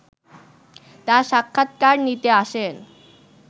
তার সাক্ষাৎকার নিতে আসেন